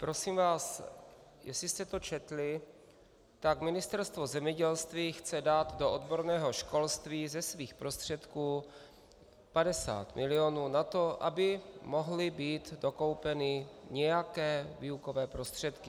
Prosím vás, jestli jste to četli, tak Ministerstvo zemědělství chce dát do odborného školství ze svých prostředků 50 milionů na to, aby mohly být dokoupeny nějaké výukové prostředky.